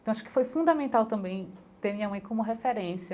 Então, acho que foi fundamental também ter minha mãe como referência